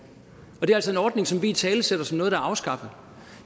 det er altså en ordning som vi italesætter som en der er afskaffet